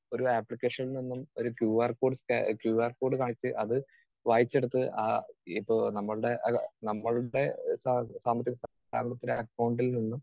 speaker 2 ഒരു ആപ്ലിക്കേഷനിൽ നിന്നും ഒരു ക്യൂ ആർ കോഡ് സ്ക ക്യു ആർ കോഡ് കാണിച്ച് അത് വായിച്ചെടുത്ത് ആ ഇപ്പോ നമ്മളുടെ അല്ല നമ്മളുടെ സാമ്പത്തിക, സാമ്പത്തിക അക്കൗണ്ടിൽ നിന്നും